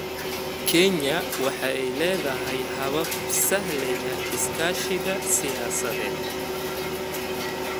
Kenya waxay leedahay habab sahlaya iskaashiga siyaasadeed.